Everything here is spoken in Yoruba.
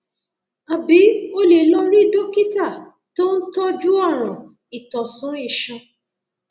àbí o lè lọ rí dókítà tó ń tọjú ọràn ìtọsùn iṣan